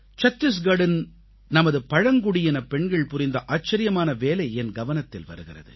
சத்திஸ்கரின் நமது பழங்குடியினப் பெண்கள் புரிந்த ஆச்சரியமான வேலை என் கவனத்தில் வருகிறது